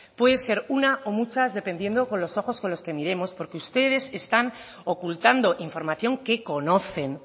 puede ser una o muchas dependiendo con los ojos con los que miremos porque ustedes están ocultando información que conocen